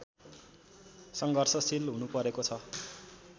सङ्घर्षशील हुनुपरेको छ